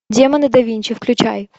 демоны да винчи включай